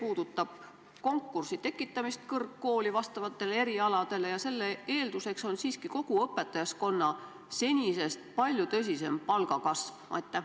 Ma mõtlen konkursi tekitamist kõrgkooli vastavatele erialadele ja selle eelduseks on siiski kogu õpetajaskonna palga senisest palju suurem kasv.